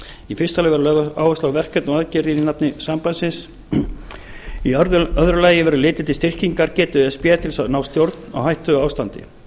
í fyrsta lagi verður lögð áhersla á verkefni og aðgerðir í nafni sambandsins í öðru lagi verður litið til styrkingargetu e s b til að ná stjórn á hættuástandi